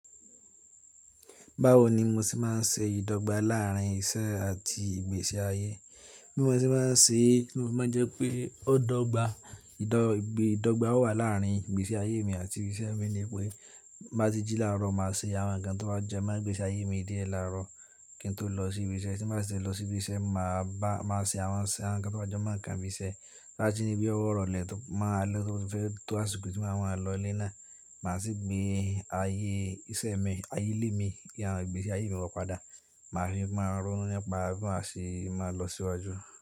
Báwo ni mo ṣe máa ń ṣe ìdọ́gba láàrín iṣẹ́ àti ìgbésí ayé? Bí mo ṣe bá ń ṣe, tí mo fi maa n jẹ́ pé ó dọ́gba, ìdọ́gba ó wà láàrín ìgbésí ayé mi àti iṣẹ́ mi ni pé má ti jí láàárọ̀ máa ṣe àwọn nǹkan tó bá jẹ́ máa ń gbé sí ayé mi díẹ̀ láàárọ̀ kí n tó lọ sí ibi iṣẹ́. Tí mo bá ti lọ sí ibi iṣẹ́, máa bá, máa ṣe àwọn, àwọn nǹkan tó bá jo máa ń kan bíi iṣẹ́. Láti ìní bí ó wọ́rọ̀ lẹ̀ máa lo fún tó àsìkò tí àwọn àlọ́ lé náà, màá sì gbé ayé iṣẹ́ mi, ayé ilé mi àti ìgbésí ayé mi wọ́ padà. Máa fi máa rónú nípa bí maa ṣe máa lọ síwájú.